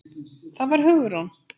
Það var Hugrún!